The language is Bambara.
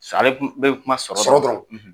Sa ale bi kuma sɔrɔkɔrɔ de kan. Sɔrɔ dɔrɔn.